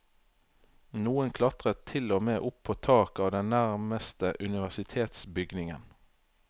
Noen klatret til og med opp på taket av den nærmeste universitetsbygningen.